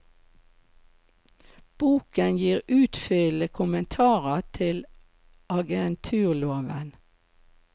Boken gir utfyllende kommentarer til agenturloven.